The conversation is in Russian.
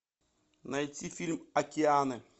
найти фильм океаны